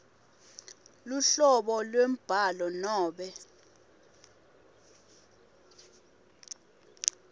luhlobo lwembhalo nobe